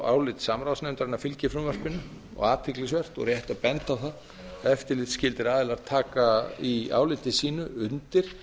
álit samráðsnefndarinnar fylgir frumvarpinu og athyglisvert og rétt að benda á að eftirlitsskyldir aðilar taka í áliti sínu undir